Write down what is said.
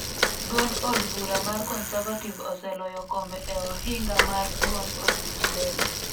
Duond od bura mar conservative oseloyo kombe e ohinga mar duond od buch leba